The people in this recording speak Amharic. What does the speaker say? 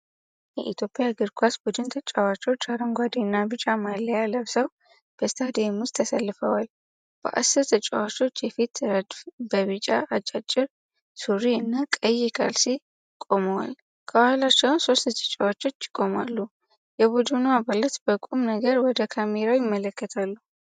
የኢትዮጵያ እግር ኳስ ቡድን ተጫዋቾች አረንጓዴ እና ቢጫ ማልያ ለብሰው በስታዲየም ውስጥ ተሰልፈዋል። በአስር ተጫዋቾች የፊት ረድፍ በቢጫ አጫጭር ሱሪ እና ቀይ ካልሲ ቆመዋል፤ ከኋላቸው ሶስት ተጫዋቾች ይቆማሉ። የቡድኑ አባላት በቁም ነገር ወደ ካሜራው ይመለከታሉ።